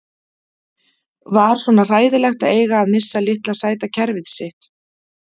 Var svona hræðilegt að eiga að missa litla sæta kerfið sitt?